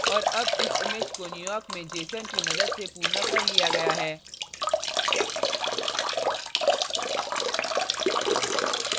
और अब इस image को न्यूयॉर्क में jeson की मदद से पूर्ण कर लिया गया है